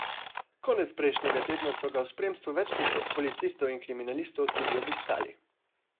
Konec prejšnjega tedna so ga v spremstvu več deset policistov in kriminalistov tudi obiskali.